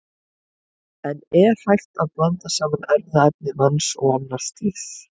En er hægt að blanda saman erfðaefni manns og annars dýrs?